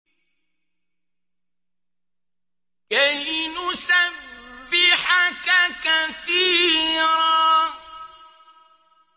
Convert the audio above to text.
كَيْ نُسَبِّحَكَ كَثِيرًا